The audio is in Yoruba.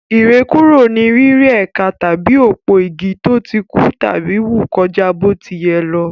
Ìrẹ́kúrò ni rírẹ́ ẹ̀ka tàbí òpó-igi tó ti kú tàbí wù kọjá bó ti yẹ lọ.